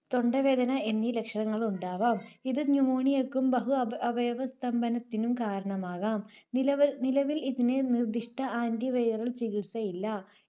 തൊണ്ടവേദന എന്നീ ലക്ഷണങ്ങളുണ്ടാവാം. ഇത് Pneumonia ക്കും ബഹു-അവ~അവയവ സ്തംഭനത്തിനും കാരണമാകാം. നിലവിൽ, നിലവിൽ ഇതിന് നിർദ്ദിഷ്ട Antiviral ചികിത്സ ഇല്ല.